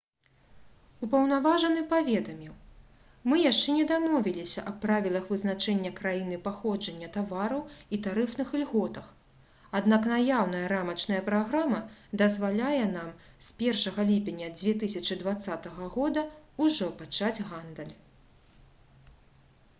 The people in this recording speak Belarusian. упаўнаважаны паведаміў: «мы яшчэ не дамовіліся аб правілах вызначэння краіны паходжання тавараў і тарыфных ільготах аднак наяўная рамачная праграма дазваляе нам з 1 ліпеня 2020 г. ужо пачаць гандаль»